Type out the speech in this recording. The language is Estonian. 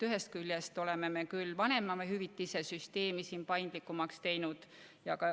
Ühest küljest oleme küll vanemahüvitise süsteemi paindlikumaks teinud.